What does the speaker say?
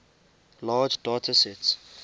large data sets